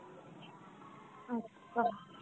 আচ্ছা.